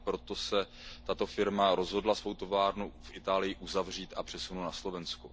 Proto se tato firma rozhodla svou továrnu v Itálii uzavřít a přesunout na Slovensko.